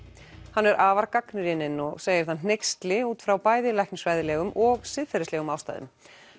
hann er afar gagnrýninn og segir það hneyksli út frá bæði læknisfræðilegum og siðferðislegum ástæðum